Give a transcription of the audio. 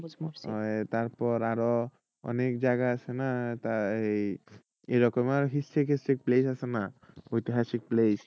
আহ তারপর আরো অনেক জায়গা আছে না এই এরকম আরো historical place আছে না ঐতিহাসিক place